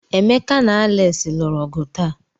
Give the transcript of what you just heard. Emeka na Alex lụrụ ọgụ taa.